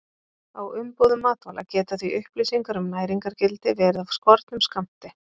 Á umbúðum matvæla geta því upplýsingar um næringargildi verið af skornum skammti.